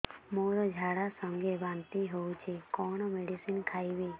ମୋର ଝାଡା ସଂଗେ ବାନ୍ତି ହଉଚି କଣ ମେଡିସିନ ଖାଇବି